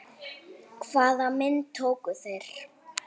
Hvaða myndir tóku þeir?